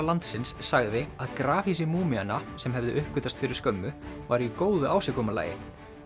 landsins sagði að grafhýsi sem hefðu uppgötvast fyrir skömmu væru í góðu ásigkomulagi